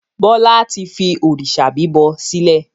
Bọlá tí fi òrìṣà bíbọ sílẹ̀.